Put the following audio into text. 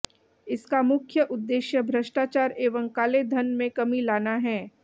इसका मुख्य उद्देश्य भष्टाचार एवं काले धन में कमी लाना है